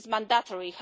This is mandatory.